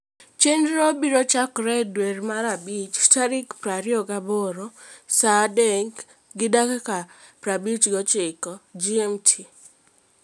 Chenrono biro chakore dwe mar abich tarik 28 (sa 3 gi dakika 59 GMT).